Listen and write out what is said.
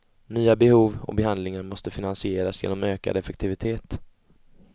Nya behov och behandlingar måste finansieras genom ökad effektivitet.